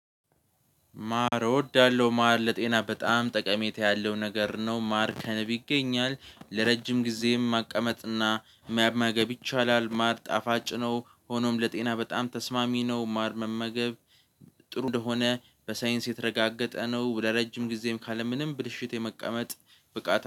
ማር እወዳለሁ ማር ለጤና በጣም ጠቀሜታ ያለው ነገር ነው። ማር ከንብ ይገኛል ለረጅም ጊዜም ማስቀመጥና መመገብ ይቻላል። ማር ጣፋጭ ነው። ሆኖም ለጤና በጣም ተስማሚ ነው። ማር መመገብ ጥሩ እንደሆነ በሳይንስ የተረጋገጠ ነው። ወደ ረጅም ጊዜም ካለ ምንም ብልሽት የመቀመጥ ብቃት